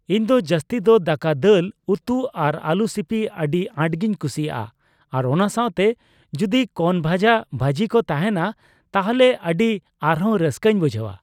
ᱤᱧᱫᱚ ᱡᱟᱹᱥᱛᱤ ᱫᱚ ᱫᱟᱠᱟ ᱫᱟᱹᱞ ᱩᱛᱩ ᱟᱨ ᱟᱹᱞᱩ ᱥᱤᱯᱤ ᱟᱹᱰᱤ ᱟᱴᱜᱤᱧ ᱠᱩᱥᱤᱭᱟᱜ ᱼᱟ ᱟᱨ ᱚᱱᱟ ᱥᱟᱣᱛᱮ ᱡᱚᱫᱤ ᱠᱚᱱᱚ ᱵᱷᱟᱡᱟ ᱵᱷᱟᱡᱤ ᱠᱚ ᱛᱟᱦᱮᱱᱟ ᱛᱟᱦᱚᱞᱮ ᱟᱹᱰᱤ ᱟᱨᱦᱚᱸ ᱨᱟᱹᱥᱠᱟᱹᱧ ᱵᱩᱡᱷᱟᱹᱣᱟ ᱾